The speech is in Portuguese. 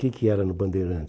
O que que era no Bandeirantes?